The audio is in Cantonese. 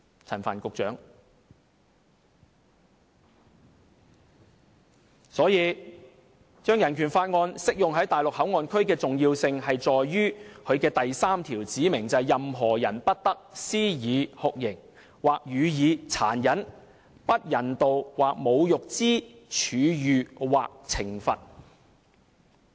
因此，將香港人權法案適用於內地口岸區的重要性，在於它的第三條指明："任何人不得施以酷刑，或予以殘忍、不人道或侮辱之處遇或懲罰。